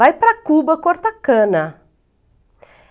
Vai para Cuba cortar cana.